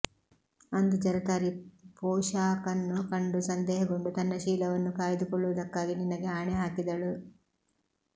ಅಂದು ಜರತಾರಿ ಪೋಷಾಕನ್ನು ಕಂಡು ಸಂದೇಹಗೊಂಡು ತನ್ನ ಶೀಲವನ್ನು ಕಾಯ್ದುಕೊಳ್ಳುವದಕ್ಕಾಗಿ ನಿನಗೆ ಆಣೆ ಹಾಕಿದಳು